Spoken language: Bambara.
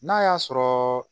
N'a y'a sɔrɔ